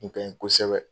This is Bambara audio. Kun ka ɲi kosɛbɛ